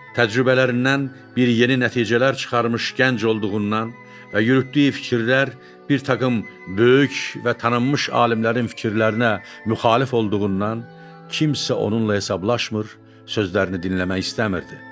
Təcrübələrindən yeni nəticələr çıxarmış gənc olduğundan və yürütdüyü fikirlər bir taqım böyük və tanınmış alimlərin fikirlərinə müxalif olduğundan, kimsə onunla hesablaşmır, sözlərini dinləmək istəmirdi.